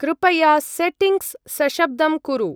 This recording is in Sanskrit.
कृपया सेटिङ्ग्स् सशब्दं कुरु।